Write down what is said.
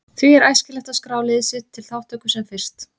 Því er æskilegt að skrá lið sitt til þátttöku sem fyrst.